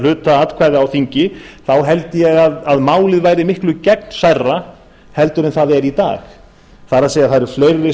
hluta atkvæða á þingi þá held ég að málið væri miklu gegnsærra heldur en það er í dag það eru sem sagt fleiri